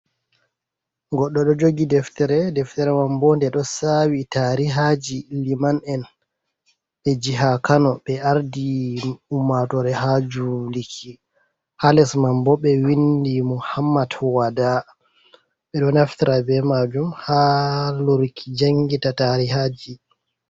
Goɗɗo ɗo jogi deftere, deftere mam bo nde ɗo sawi tarihaji liman'en ɓe jiha kano ɓe ardi umatore ha juliki. Ha lesman bo ɓe windi mohammat wada ɓeɗo naftera be majum ha luruki jangita tarihaji.